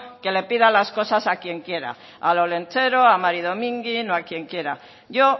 que le pida las cosas a quien quiera al olentzero a mari domingi o a quien quiera yo